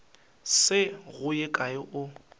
se go ye kae o